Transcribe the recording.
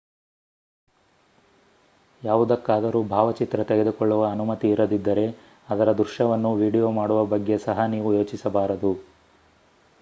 ಯಾವುದಕ್ಕಾದರೂ ಭಾವಚಿತ್ರ ತೆಗೆದುಕೊಳ್ಳುವ ಅನುಮತಿ ಇರದಿದ್ದರೆ ಅದರ ದೃಶ್ಯವನ್ನು ವಿಡಿಯೊ ಮಾಡುವ ಬಗ್ಗೆ ಸಹ ನೀವು ಯೋಚಿಸಬಾರದು